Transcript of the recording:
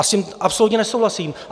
A s tím absolutně nesouhlasím.